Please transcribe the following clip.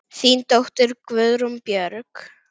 Þín dóttir, Guðrún Björg.